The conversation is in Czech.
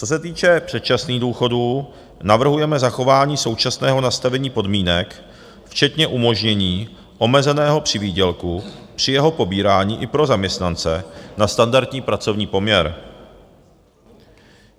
Co se týče předčasných důchodů, navrhujeme zachování současného nastavení podmínek včetně umožnění omezeného přivýdělku při jeho pobírání i pro zaměstnance na standardní pracovní poměr.